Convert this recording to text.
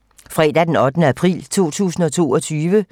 Fredag d. 8. april 2022